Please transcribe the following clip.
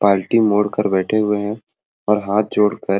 पालटी मोड़ कर बैठे हुए हैं और हाथ जोड़कर--